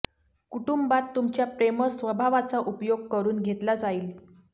कुटुंबात तुमच्या प्रेमळ स्वभावाचा उपयोग करून घेतला जाईल